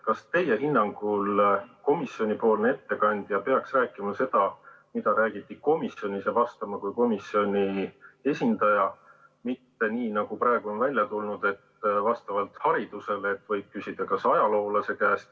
Kas teie hinnangul peaks komisjoni ettekandja rääkima seda, mida räägiti komisjonis, ja vastama kui komisjoni esindaja, mitte nii, nagu praegu on välja tulnud, et vastavalt haridusele võib küsida tema kui ajaloolase käest?